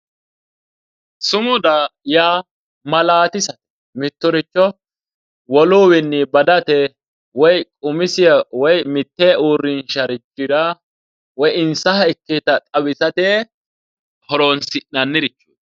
Sumuda yaa maalatisate, mittoricho woluwinni badate woyi umisiha woyi mite uurrinsharichira woyi insaha ikkewotta xawisate horonsi'nannirichoti .